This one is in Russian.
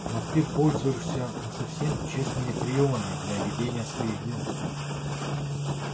но ты пользуешься не совсем честными приёмами для ведения своих дел